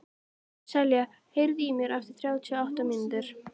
Selja, heyrðu í mér eftir þrjátíu og átta mínútur.